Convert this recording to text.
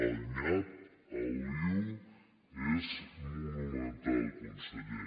el nyap el lio és monumental conseller